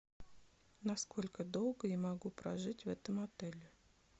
на сколько долго я могу прожить в этом отеле